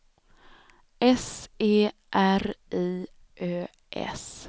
S E R I Ö S